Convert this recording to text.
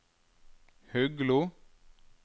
Huglo